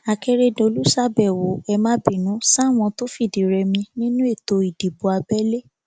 akérèdòlù ṣàbẹwò ẹ má bínú sáwọn tó fìdírẹmi nínú ètò ìdìbò abẹlé